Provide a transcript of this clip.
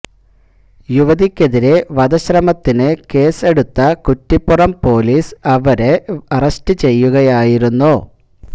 യുവതിക്കെതിരെ വധശ്രമത്തിന് കേസ് എടുത്ത കുറ്റിപ്പുറം പൊലീസ് ഇവരെ അറസ്റ്റ് ചെയ്യുകയായിരുന്ന